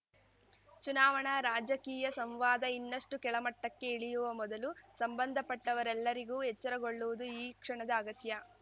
ಚುನಾವಣಾ ರಾಜಕೀಯ ಸಂವಾದ ಇನ್ನಷ್ಟುಕೆಳಮಟ್ಟಕ್ಕೆ ಇಳಿಯುವ ಮೊದಲು ಸಂಬಂಧಪಟ್ಟವರೆಲ್ಲರಿಗೂ ಎಚ್ಚರಗೊಳ್ಳುವುದು ಈ ಕ್ಷಣದ ಅಗತ್ಯ